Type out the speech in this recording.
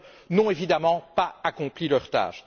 n'ont évidemment pas accompli leur tâche.